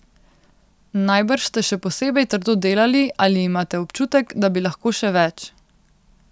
Najbrž ste še posebej trdo delali ali imate občutek, da bi lahko še več?